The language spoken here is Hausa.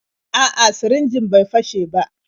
A'a, sirinjin bai fashe ba.